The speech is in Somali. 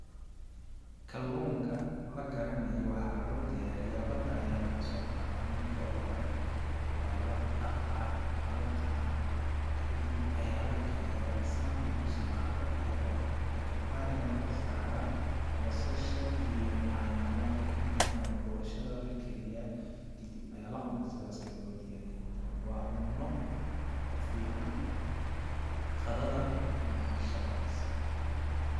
Kalluunka la karinayo waxaa loo diyariyaa badda ayaa lagasoo qadaa marki oogu hore ,waa la dhaqaa, waa la qalaa ,kadib ayaa la kariyaa ,markuu bislaado ayaa waxan kachumbari ga la kor saraa ,basasha iyo nyanyada kadib ayaa boshadaa la kariyaa kadib ayaa la cunaa ,sidaas ayaa loo diyariyaa midani ,waa cunno ku fiican qadada ama cashada.